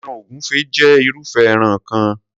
Ẹran ògúnfẹ jé irúfé ẹran kan.